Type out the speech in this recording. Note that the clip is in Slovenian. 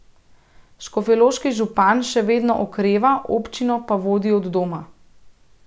Škofjeloški župan še vedno okreva, občino pa vodi od doma.